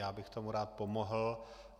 Já bych tomu rád pomohl.